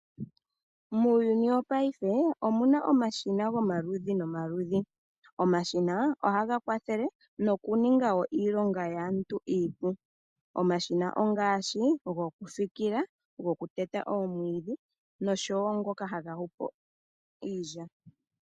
Muuyuni wopaife mu na omashina gomaludhi nomaludhi. Omashina ohaga kwathele nokuninga wo iilonga yaantu iipu. Omashina ongaashi: gokufikila, gokuteta omwiidhi nosho wo ngoka haga yungula po iilya.